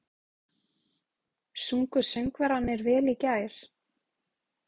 Sungu söngvararnir vel í gær?